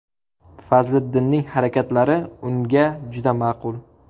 Fazliddinning harakatlari unga juda ma’qul.